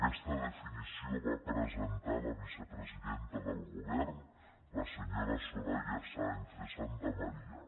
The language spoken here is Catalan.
aquesta definició la va presentar la vicepresidenta del govern la senyora soraya sáenz de santamaría